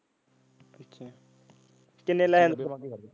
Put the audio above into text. ਕਿੰਨੇ ਲੈ .